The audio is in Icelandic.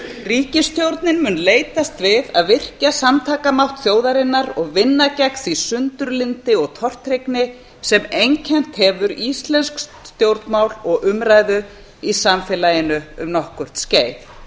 ríkisstjórnin mun leitast við að virkja samtakamátt þjóðarinnar og vinna gegn því sundurlyndi og tortryggni sem einkennt hefur íslensk stjórnmál og umræðu í samfélaginu um nokkurt skeið